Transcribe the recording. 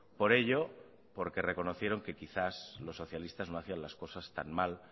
por ello porque reconocieron que quizás los socialistas no hacían las cosas tan mal